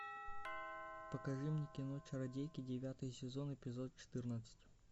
покажи мне кино чародейки девятый сезон эпизод четырнадцать